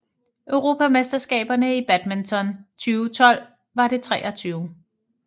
Europamesterskaberne i badminton 2012 var det 23